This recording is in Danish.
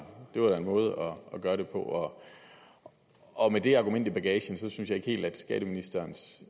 en måde at gøre det på med det argument i bagagen synes jeg ikke helt at skatteministerens